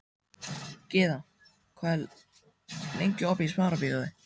Gyða, hvað er lengi opið í Smárabíói?